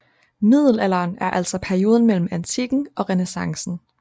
Middelalderen er altså perioden mellem antikken og renæssancen